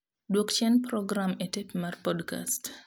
Dwok chien program e tep mar podcast